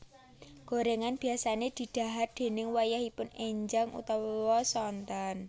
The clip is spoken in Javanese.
Gorengan biasane di dhahar déning wayahipun enjang utawa sonten